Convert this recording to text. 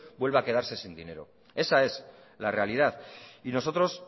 vuelva a quedarse sin dinero esa es la realidad y nosotros